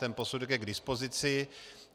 Ten posudek je k dispozici.